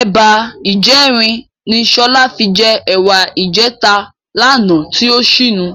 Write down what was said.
Ẹ̀ba ìjẹrin ni Sọlá fi jẹ ẹ̀wà ìjẹta lánàá tí ó ṣínu.